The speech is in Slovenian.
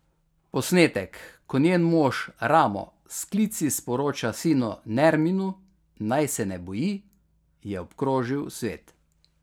Posnetek, ko njen mož Ramo s klici sporoča sinu Nerminu, naj se ne boji, je obkrožil svet.